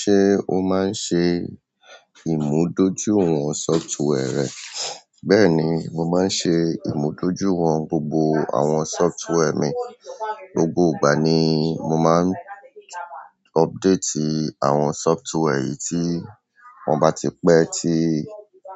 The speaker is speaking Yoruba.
Se o ma n se ìmúdójúìwọ̀n software rẹ? Bẹ́ẹ̀ni, mo máa ń ṣe ìmúdójúìwọ̀n gbogbo àwọn software mi. Gbogbo ìgbà ni mo máa ń update àwọn sọftware yi tí wọ́n bá ti pẹ tí